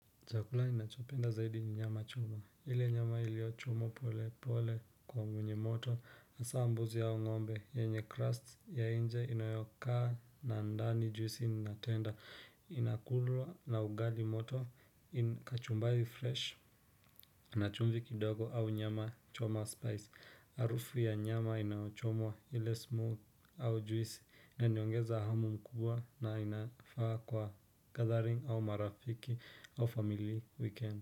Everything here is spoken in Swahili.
Chakula ninachopenda zaidi ni nyama choma ile nyama iliyochomwa polepole kwa mgunye moto hasa ya mbuzi au ngombe yenye crust ya nje inayokaa na ndani juisi inatenda inakulwa na ugali moto kachumbari fresh na chumvi kidogo au nyama choma spice. Harufu ya nyama inayochomwa ile smooth au juisi. Naiongeza hamu mkubwa na inafaa kwa gathering au marafiki au family weekend.